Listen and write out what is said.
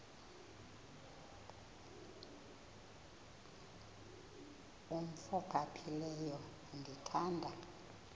umf ophaphileyo ndithanda